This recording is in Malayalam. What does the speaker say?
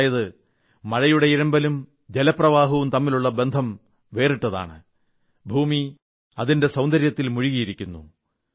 അതായത് മഴയുടെ ഇരമ്പലും ജലപ്രവാഹവും തമ്മിലുള്ള ബന്ധം വേറിട്ടതാണ് ഭൂമി അതിന്റെ സൌന്ദര്യത്തിൽ മുഴുകിയിരിക്കുന്നു